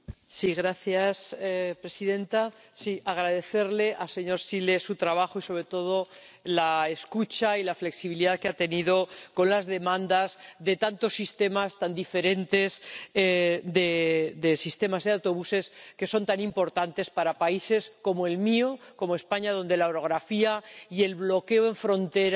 Señora presidenta, quiero agradecerle al señor Zīle su trabajo y, sobre todo, la escucha y la flexibilidad que ha tenido con las demandas de tantos sistemas tan diferentes de autobuses, que son tan importantes para países como el mío, como España, donde la orografía y el bloqueo en frontera